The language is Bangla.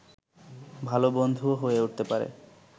ভালো বন্ধুও হয়ে উঠতে পারে